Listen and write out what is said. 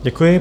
Děkuji.